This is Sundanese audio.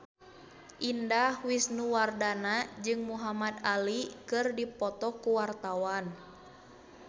Indah Wisnuwardana jeung Muhamad Ali keur dipoto ku wartawan